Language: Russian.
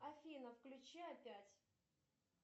афина включи опять